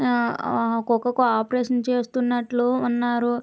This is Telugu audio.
ఆ ఆ కుక్కకి ఆపరేషన్ చేస్తున్నట్లు ఉన్నారు.